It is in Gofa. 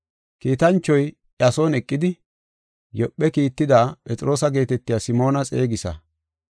Kiitanchoy iya son eqidi, ‘Yoophe kiittada Phexroosa geetetiya Simoona xeegisa.